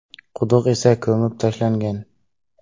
Quduq esa ko‘mib tashlangan.